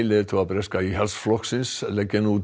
leiðtoga breska Íhaldsflokksins leggja nú